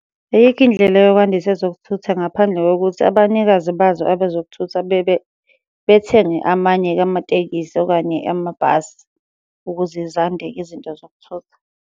Ayikho indlela yokwandisa ezokuthutha ngaphandle kokuthi abanikazi bazo abezokuthutha bebe bethenge amanye-ke amatekisi okanye amabhasi, ukuze zande-ke izinto zokuthutha.